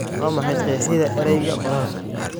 waa maxay qeexida erayga qoraalka